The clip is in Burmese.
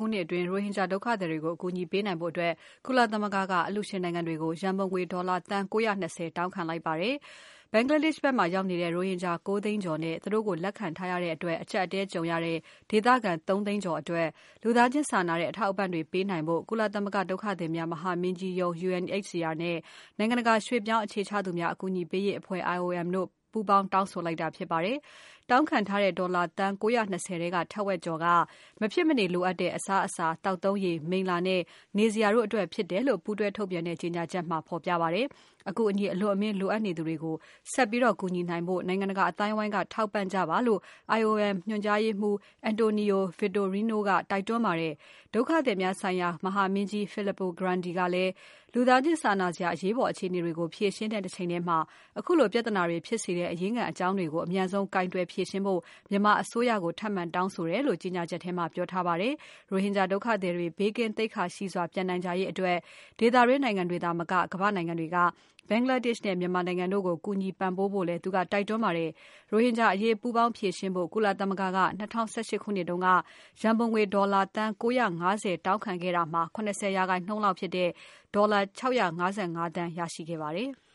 ခုနှစ်အတွင်း ရိုဟင်ဂျာဒုက္ခသည်တွေကို အကူအညီပေးနိုင်ဖို့အတွက် ကုလသမဂ္ဂက အလှူရှင်နိုင်ငံတွေကို ရန်ပုံငွေ ဒေါ်လာသန်း ၉၂၀ တောင်းခံလိုက်ပါတယ်။ Bangladesh ဘက်မှာရောက်နေတဲ့ ရိုဟင်ဂျာ ၉ သိန်းကျော်နဲ့ သူတို့ကိုလက်ခံထားရတဲ့အတွက် အကြပ်အတည်းကြုံရတဲ့ ဒေသခံ ၃ သိန်းကျော်အတွက် လူသားချင်းစာနာတဲ့အထောက်အပံ့တွေပေးနိုင်ဖို့ ကုလသမဂ္ဂဒုက္ခသည်များ မဟာမင်းကြီးရုံး UNHCR နဲ့ နိုင်ငံတကာ ရွှေ့ပြောင်းသူများအကူအညီပေးရေးအဖွဲ့ IOM တု့ိပူးပေါင်းတောင်းဆိုလိုက်တာဖြစ်ပါတယ်။ တောင်းခံထားတဲ့ ဒေါ်လာသန်း ၉၂၀ ထဲက ထက်ဝက်ကျော်က မဖြစ်မနေလိုအပ်တဲ့ အစားအစာ၊ သောက်သုံးရေ၊ မိလ္လာနဲ့ နေစရာတို့အတွက်ဖြစ်တယ်လို့ ပူးတွဲထုတ်ပြန်တဲ့ ကြေညာချက်မှာ ဖော်ပြထားပါတယ်။ အကူအညီအလွန်အမင်းလိုအပ်နေသူတွေကို ဆက်ပြီးကူညီနိုင်ဖို့ နိုင်ငံတကာအသိုင်းအဝိုင်းက ထောက်ပံ့ကြပါလို့ IOM ညွှန်ကြားရေးမှူးချုပ် António Vitorino တိုက်တွန်းပါတယ်။ ဒုက္ခသည်များဆိုင်ရာ မဟာမင်းကြီး Filippo Grandi ကလည်း လူသားချင်း စာနာစရာ အရေးပေါ်အခြေအနေတွေကို ဖြေရှင်းတဲ့တချိန်တည်းမှာ ခုလိုပြဿနာတွေဖြစ်စေတဲ့ အရင်းခံအကြောင်းတွေကို အမြန်ဆုံး ကိုင်တွယ်ဖြေရှင်းဖို့ မြန်မာအစိုးရကို ထပ်မံတောင်းဆိုတယ်လို့ ကြေညာချက်ထဲမှာ ပြောထားပါတယ်။ ရိုဟင်ဂျာဒုက္ခသည်တွေ ဘေးကင်းသိက္ခာရှိစွာ ပြန်နိုင်ကြရေးအတွက် ဒေသတွင်းနိုင်ငံတွေသာမက ကမ္ဘာ့နိုင်ငံတွေက Bangladesh နဲ့ မြန်မာနိုင်ငံတို့ကို ကူညီပံ့ပိုးကြဖို့လည်း သူက တိုက်တွန်းပါတယ်။ ရိုဟင်ဂျာအရေးပူးပေါင်း ဖြေရှင်းဖို့ ကုလသမဂ္ဂက ၂၀၁၈ ခုနှစ်က ရန်ပုံတွေ ဒေါ်လာ သန်း ၉၅၀ တောင်းခံခဲ့တဲ့ထဲက ၇၀% လောက်ဖြစ်တဲ့ ဒေါ်လာ ၆၅၅ သန်းရရှိခဲ့ပါတယ်။